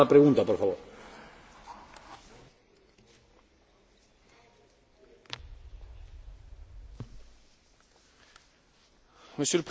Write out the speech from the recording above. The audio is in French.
Le Conseil a pris bonne note du fait que les négociations d'adhésion avec la Croatie ont beaucoup progressé et qu'elles entrent dans leur phase finale.